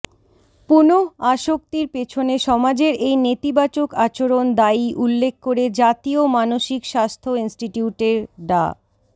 পুনঃআসক্তির পেছনে সমাজের এই নেতিবাচক আচরণ দায়ী উল্লেখ করে জাতীয় মানসিক স্বাস্থ্য ইনস্টিটিউটের ডা